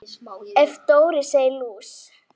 Ef Dóri segir lús